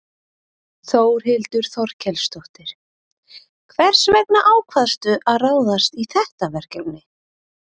Þórhildur Þorkelsdóttir: Hvers vegna ákvaðstu að ráðast í þetta verkefni?